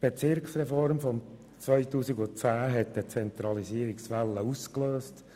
Die Bezirksreform 2010 hatte eine Zentralisierungswelle ausgelöst.